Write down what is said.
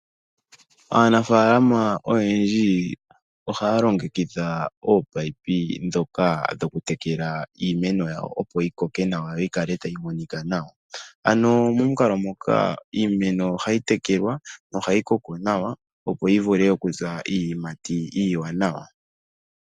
Aanafaalama oyendji ohaya longekidha ominino ndhoka dhokutekela iimeno yawo opo yi koke yo yi kale tayi monika nawa. Iimeno ngele ya koko nawa ohayi zi iiyimati iiwanawa molwaashoka oya silwa oshimpwiyu nawa.